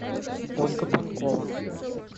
ольга панкова